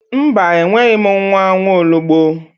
Mba enweghi m nwa nwaologbo